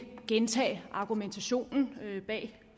gentage argumentationen bag